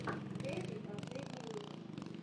хэйви последний выпуск